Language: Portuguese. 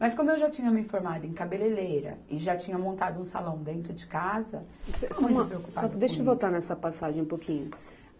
Mas como eu já tinha me formada em cabeleireira e já tinha montado um salão dentro de casa Só uma, só uma, deixa eu voltar nessa passagem um pouquinho.